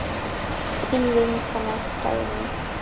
Þín vinkona Dagný.